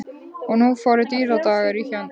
Og nú fóru dýrðardagar í hönd.